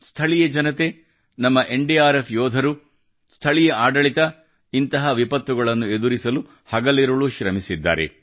ಸ್ಥಳೀಯ ಜನತೆ ನಮ್ಮ ಎನ್ಡಿಆರ್ಎಫ್ ಯೋಧರು ಸ್ಥಳೀಯ ಆಡಳಿತ ಇಂತಹ ವಿಪತ್ತುಗಳನ್ನು ಎದುರಿಸಲು ಹಗಲಿರುಳು ಶ್ರಮಿಸಿದ್ದಾರೆ